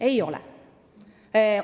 Ei ole!